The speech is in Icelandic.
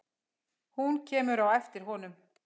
Hún kemur á eftir honum.